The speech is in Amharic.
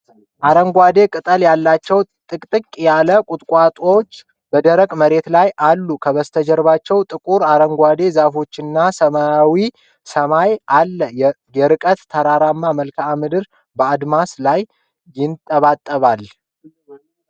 አረንጓዴ ቅጠል ያላቸው ጥቅጥቅ ያሉ ቁጥቋጦዎች በደረቅ መሬት ላይ አሉ። ከበስተጀርባ ጥቁር አረንጓዴ ዛፎችና ሰማያዊ ሰማይ አለ። የርቀት ተራራማ መልክዓ ምድር በአድማስ ላይ ይንጠባጠባል።